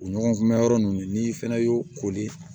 O ɲɔgɔn mɛn yɔrɔ ninnu n'i fɛnɛ y'o koli